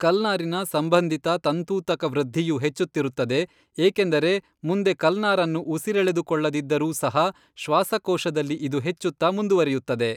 ಕಲ್ನಾರಿನ ಸಂಬಂಧಿತ ತಂತೂತಕವೃದ್ಧಿಯು ಹೆಚ್ಚುತ್ತಿರುತ್ತದೆ, ಏಕೆಂದರೆ ಮುಂದೆ ಕಲ್ನಾರನ್ನು ಉಸಿರೆಳೆದುಕೊಳ್ಳದಿದ್ದರೂ ಸಹ ಶ್ವಾಸಕೋಶದಲ್ಲಿ ಇದು ಹೆಚ್ಚುತ್ತಾ ಮುಂದುವರೆಯುತ್ತದೆ.